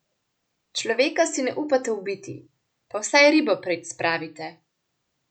Človeka si ne upate ubiti, pa vsaj ribo preč spravite.